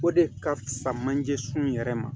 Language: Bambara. O de ka fusa manje sun yɛrɛ ma